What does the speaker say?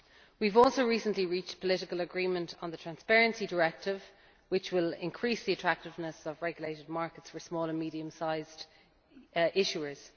We have also recently reached political agreement on the Transparency Directive, which will increase the attractiveness of regulated markets for small and medium sized issuers.